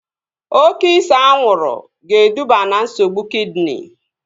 Oke ise anwụrụ ga-eduba na nsogbu kidini